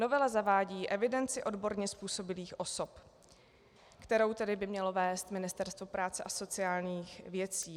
Novela zavádí evidenci odborně způsobilých osob, kterou tedy by mělo vést Ministerstvo práce a sociálních věcí.